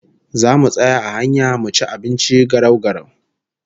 Zamu tsaya a hanya mu ci abinci garau-garau